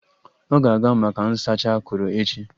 Ọ ga-aga maka nsacha akụrụ echi?